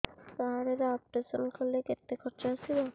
card ରେ operation କଲେ କେତେ ଖର୍ଚ ଆସିବ